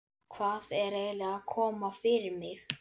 Hvað er eiginlega að koma fyrir mig?